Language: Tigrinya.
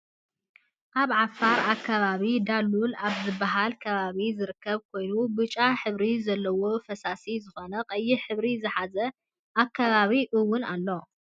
ኣብ ዓፋር ኣከባቢ ዳሉል ኣብ ዝብሃል ከባቢ ዝርከብ ኮይኑ ብጫሕብሪ ዘለዎ ፈሳሲ ዝኮነ ቀይሕ ሕብሪ ዝሓዘ ኣከባቢ እውን ኣሎ ።